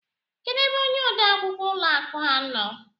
Kedu ebe ónyé ode akwukwọ ụlọ akụ a nọ?